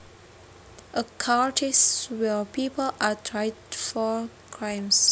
A court is where people are tried for crimes